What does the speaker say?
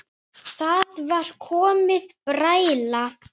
Það var komin bræla.